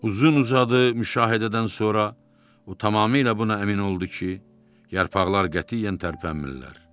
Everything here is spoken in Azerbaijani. Uzun-uzadı müşahidədən sonra o tamamilə buna əmin oldu ki, yarpaqlar qətiyyən tərpənmirlər.